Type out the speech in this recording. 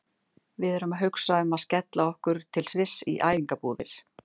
Við erum að hugsa um að skella okkur til Sviss í æfingabúðir.